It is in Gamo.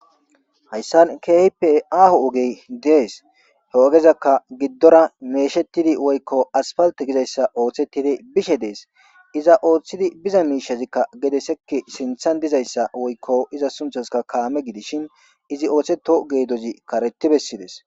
Hayssan keipe aho ogey dees heogezakka giddora meeshettidi woykko asfalta gizayssa ooththetidi bishe dees iza ooththidi biza miishazikka gedesekki sinthan dizayssa woykko iza sunthaska kaame gidishin izi ooththeto geedozi karetti bessides.